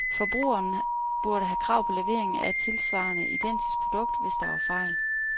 Forbrugeren burde have krav på levering af et tilsvarende identisk produkt, hvis der var fejl.